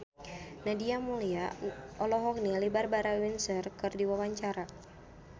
Nadia Mulya olohok ningali Barbara Windsor keur diwawancara